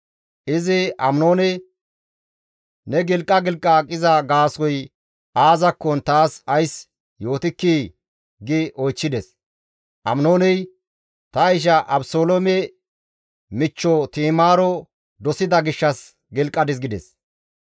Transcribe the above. Izi Aminoone, «Ne gilqa gilqa aqiza gaasoykka aazakkon taas ays yootikkii!» gi oychchides. Aminooney, «Ta isha Abeseloome michcho Ti7imaaro dosida gishshas gilqadis» gides.